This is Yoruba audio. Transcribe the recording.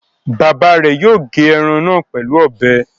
Bàbá rẹ̀ yóò gé ẹran náà pẹ̀lú ọbẹ.